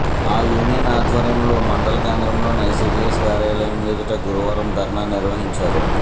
ఆ యూనియన్ ఆధ్వర్యంలో మండల కేంద్రంలోని ఐసీడీఎస్ కార్యాలయం ఎదుట గురువారం ధర్నా నిర్వహించారు